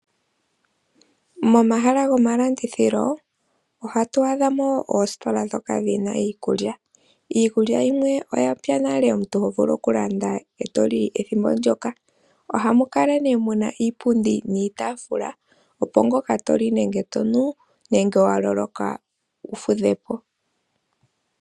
Momahala go malandithilo ohatu adhamo oositola ndhoka dhina iikulya, Iikulya yimwe oyapya nale omuntu ho vulu oku landa eto li ethimbo ndyoka. Ohamu kala nee muna iipundi niitafula, opo ngoka toli nenge tonu, nenge wa loloka , wu fudhe po.